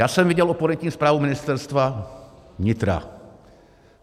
Já jsem viděl oponentní zprávu Ministerstva vnitra.